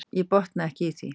Ég botna ekki í því.